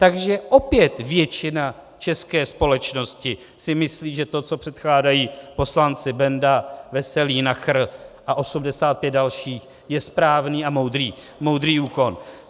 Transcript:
Takže opět většina české společnosti si myslí, že to, co předkládají poslanci Benda, Veselý, Nacher a 85 dalších, je správný a moudrý úkon.